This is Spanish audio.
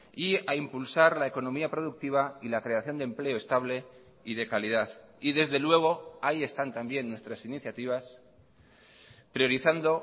y a impulsar la economía productiva y la creación de empleo estable y de calidad y desde luego ahí están también nuestras iniciativas priorizando